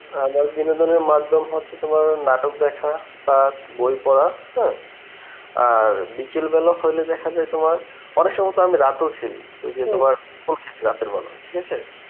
আমার বিনোদনের মাধ্যম হচ্ছে তোমার নাটক দেখা, plus বই পড়া হ্যাঁ আর বিকেলবেলা হলে দেখাযায় তোমার অনেকসময় তো আমি রাতেও খেলি. ঐযে তোমার খেলি রাতের বেলা ঠিক আছে.